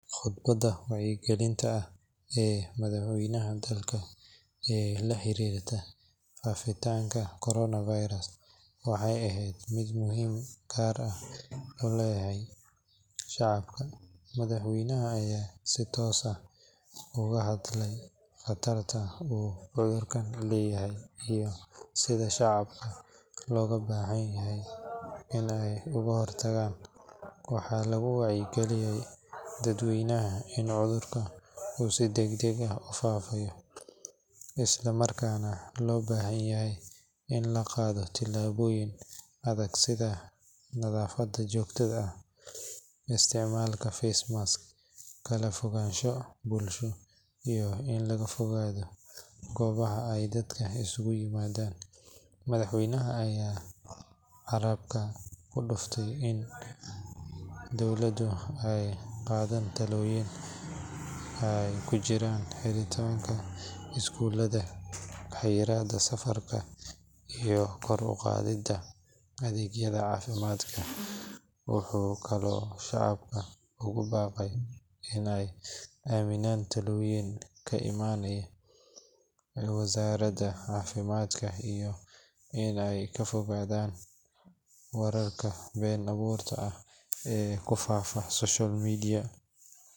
Khudbadda wacyigelinta ah ee madaxweynaha dalka ee la xiriirtay faafitaanka corona virus waxay ahayd mid muhiimad gaar ah u lahayd shacabka. Madaxweynaha ayaa si toos ah uga hadlay khatarta uu cudurkan leeyahay iyo sida shacabka looga baahan yahay in ay uga hortagaan. Waxaa lagu wargeliyay dadweynaha in cudurka uu si degdeg ah u faafayo, isla markaana loo baahan yahay in la qaato tallaabooyin adag sida nadaafad joogto ah, isticmaalka face mask, kala fogaansho bulsho, iyo in laga fogaado goobaha ay dadku isugu yimaadaan. Madaxweynaha ayaa carrabka ku adkeeyay in dowladda ay qaaday tallaabooyin ay ku jiraan xiritaanka iskuulada, xayiraadda safarka, iyo kor u qaadidda adeegyada caafimaadka. Wuxuu kaloo shacabka ugu baaqay in ay aaminaan talooyinka ka imaanaya wasaaradda caafimaadka iyo in ay ka fogaadaan wararka been abuurka ah ee ku faafaya social media.